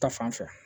Ta fanfɛ